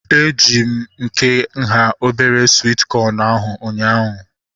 Eji m nke nhá obere swit kọn ahu ụnyaahụ